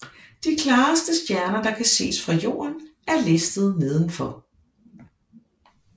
De klareste stjerner der kan ses fra Jorden er listet nedenfor